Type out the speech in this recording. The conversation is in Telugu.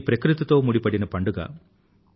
ఇది ప్రకృతితో ముడిపడిన పండుగ